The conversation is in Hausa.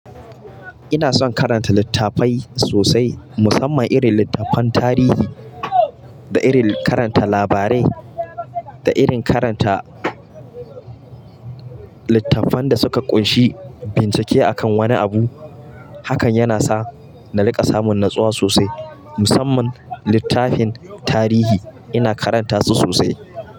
Ina son karanta littafai sosai musamman irin littafan tarihi da irin karanta labarai da irin karanta littafan da suka ƙunshi bincike akan wani abu. Hakan yana sa na riƙa samun natsuwa sosai musamman littafin tarihi ina karanta su sosai.